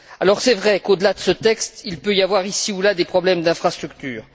Alors c'est vrai qu'au delà de ce texte, il peut y avoir, ici ou là, des problèmes d'infrastructures.